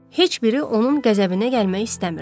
Heç biri onun qəzəbinə gəlmək istəmirdi.